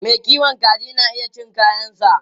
Mai kiwon kaji na iya cin kayansa.